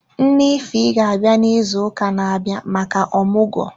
Nne ify ga abịa na ịzụ ụka na abịa maka omugo.